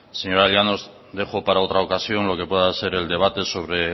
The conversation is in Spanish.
señora llanos dejó para otra ocasión lo que pueda ser el debate sobre